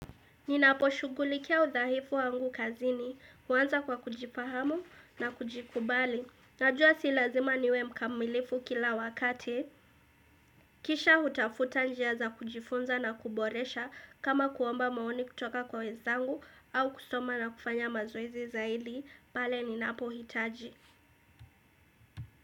Ninapo shughulikia udhaifu wangu kazini, huanza kwa kujifahamu na kujikubali. Najua si lazima niwe mkamilifu kila wakati. Kisha utafuta njia za kujifunza na kuboresha kama kuomba maoni kutoka kwa wezangu au kusoma na kufanya mazoezi zaidi, pale ninapo hitaji.